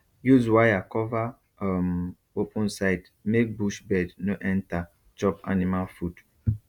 use wire cover um open side make bush bird no enter chop animal food